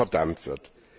verdammt wird.